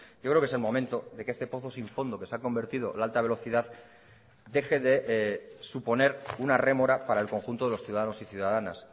yo creo que es el momento de que este pozo sin fondo que se ha convertido la alta velocidad deje de suponer una rémora para el conjunto de los ciudadanos y ciudadanas